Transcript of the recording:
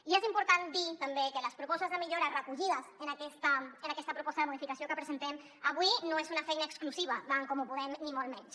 i és important dir també que les propostes de millora recollides en aquesta proposta de modificació que presentem avui no són una feina exclusiva d’en comú podem ni molt menys